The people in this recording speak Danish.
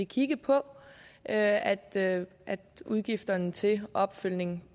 kigge på at udgifterne til opfølgningen